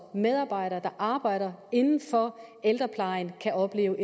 medarbejdere der arbejder inden for ældreplejen kan opleve